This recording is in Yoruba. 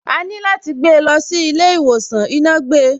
Àní láti gbé lọ sí ilé ìwòsàn, iná gbe.